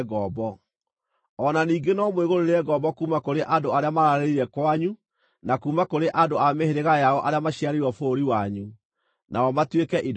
O na ningĩ no mwĩgũrĩre ngombo kuuma kũrĩ andũ arĩa mararĩrĩire kwanyu na kuuma kũrĩ andũ a mĩhĩrĩga yao arĩa maciarĩirwo bũrũri wanyu, nao matuĩke indo cianyu.